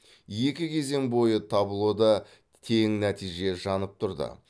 екі кезең бойы таблода тең нәтиже жанып тұрды